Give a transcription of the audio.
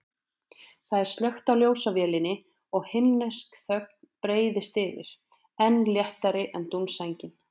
Það er slökkt á ljósavélinni og himnesk þögnin breiðist yfir, enn léttari en dúnsængin.